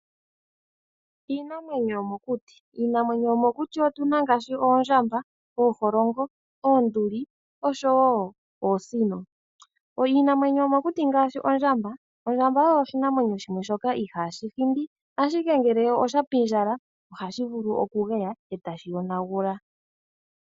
Iinamwenyo yomokuti. Iinamwenyo yomokuti otu na ngaashi; oondjamba, ooholongo, oonduli, osho wo oosino. Iinamwenyo yomokuti ngaashi ondjamba, ondjamba oyo oshinamwenyo shoka ihaashi hindi, ashike ngele oshapindjala, ohashi vulu okugeya e ta shi yonagula.